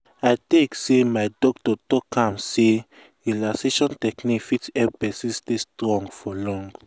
i take say my doctor talk am say relaxation techniques fit help person stay strong for long.